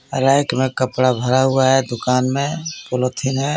Rack में कपड़ा भरा हुआ है दुकान में पॉलीथीन है.